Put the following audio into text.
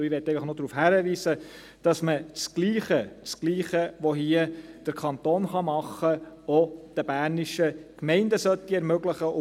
Ich möchte einfach noch darauf hinweisen, dass man das Gleiche, das Gleiche, das der Kanton hier tun kann, auch den bernischen Gemeinden ermöglichen sollte.